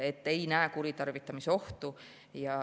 Ma ei näe kuritarvitamise ohtu.